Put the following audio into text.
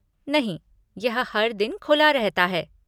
नहीं, यह हर दिन खुला रहता है।